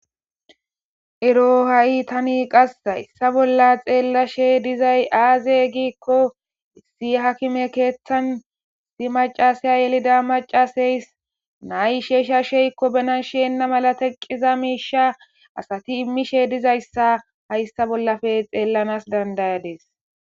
ero ha7i tani qas hayssa bolla xeella she dizay aaze giikko si hakime keeththan si macasaya yelida macaseys nay sheeshsha sheykko benanshienna mala teqqiza miisha asati immishe dizayssa hayssa bollafe xeellanas dandayades